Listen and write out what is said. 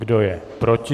Kdo je proti?